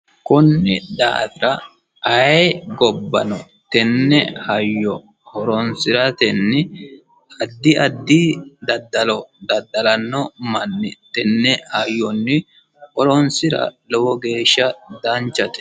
Konne daata ayi gobbano tenne hayyo horoonsiratenni addi addi dadallo dadalano manni tenne hayyonni horoonsira lowo geesha danchate.